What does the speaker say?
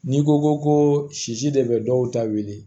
N'i ko ko sisi de bɛ dɔw ta wele